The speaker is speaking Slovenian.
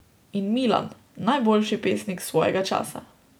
In Milan, najboljši pesnik svojega časa.